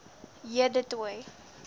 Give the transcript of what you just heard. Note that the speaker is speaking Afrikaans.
j du toit